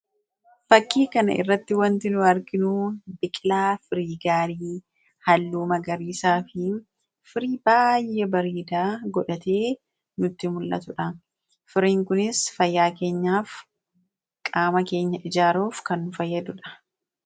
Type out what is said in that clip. Bakkee kanatti egaa kan nuti arginu biqilaa firii gaarii, haalluu magariisaafi firii baay'ee bareedaa godhatee nutti muul'atudha. Firiin kunis fayyaa keenyaa fi qaama keenya ijaaruuf kan nu fayyadudha.